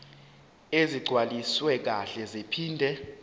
ezigcwaliswe kahle zaphinde